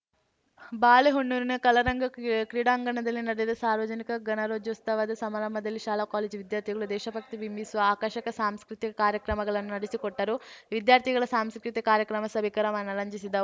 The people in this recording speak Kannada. ಬಾಳೆಹೊನ್ನೂರಿನ ಕಲಾರಂಗ ಕ್ರೀಡಾಂಗಣದಲ್ಲಿ ನಡೆದ ಸಾರ್ವಜನಿಕ ಗಣರಾಜ್ಯೋಸ್ತವ ಸಮಾರಂಭದಲ್ಲಿ ಶಾಲಾ ಕಾಲೇಜು ವಿದ್ಯಾರ್ಥಿಗಳು ದೇಶಭಕ್ತಿ ಬಿಂಬಿಸುವ ಆಕರ್ಷಕ ಸಾಂಸ್ಕೃತಿಕ ಕಾರ್ಯಕ್ರಮಗಳನ್ನು ನಡೆಸಿಕೊಟ್ಟರು ವಿದ್ಯಾರ್ಥಿಗಳ ಸಾಂಸ್ಕೃತಿಕ ಕಾರ್ಯಕ್ರಮ ಸಭಿಕರ ಮನರಂಜಿಸಿದ